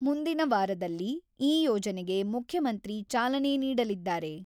ಮುಂದಿನ ವಾರದಲ್ಲಿ ಈ ಯೋಜನೆಗೆ ಮುಖ್ಯಮಂತ್ರಿ ಚಾಲನೆ ನೀಡಲಿದ್ದಾರೆ.